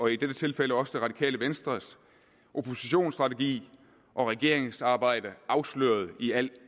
i dette tilfælde også det radikale venstres oppositionsstrategi og regeringsarbejde afsløret i al